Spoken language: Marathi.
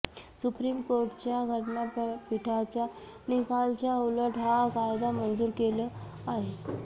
सुप्रीम कोर्टाच्या घटनापीठाच्या निकालाच्या उलट हा कायदा मंजूर केल आहे